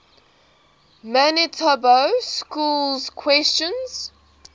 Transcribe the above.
manitoba schools question